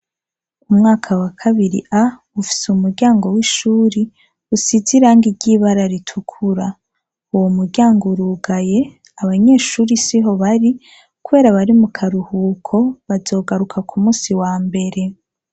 Umwaka wa kabiri A ufise umuryango w'ishure usize irangi ry'ibara ritukura uwo muryango urugaye abanyeshure siho bari kubera bari mu karuhuko bazogaruka ku munsi wa mbere.